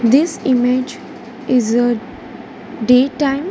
This image is a day time.